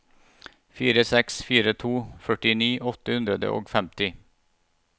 fire seks fire to førtini åtte hundre og femti